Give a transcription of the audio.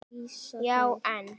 Já en.?